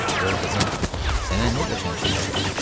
Gör qızım, sənə nə qəşəng şeylər gətirmişəm.